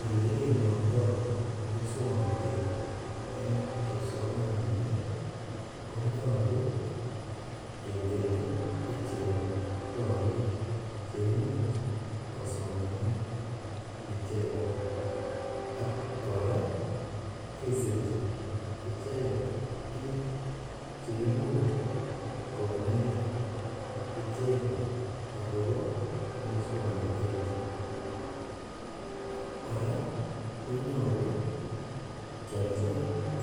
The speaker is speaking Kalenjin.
Ole kinomtoi muswongnotet en kipsomaninik konyolu ketekchi ichek korik che imuch kosomanen icheket ak kora kesechi icheket biik cheimuch konet icheket akobo muswongnotet kora konyolu kialchi